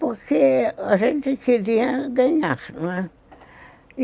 Porque a gente queria ganhar, não é?